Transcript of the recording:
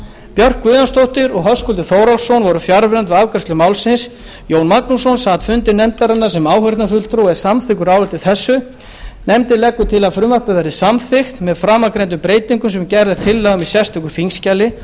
björk guðjónsdóttir og höskuldur þórhallsson voru fjarverandi við afgreiðslu málsins jón magnússon sat fundi nefndarinnar sem áheyrnarfulltrúi og er samþykkur áliti þessu nefndin leggur til að frumvarpið verði samþykkt með framangreindum breytingum sem gerð er tillaga um í sérstöku þingskjali